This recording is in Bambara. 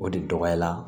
O de dɔgɔya la